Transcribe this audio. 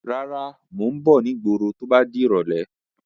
Rárá, Mo ń bọ̀ ni ìgboro to bá di irọ̀lẹ́.